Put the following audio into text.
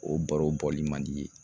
O baro bɔli man di i ye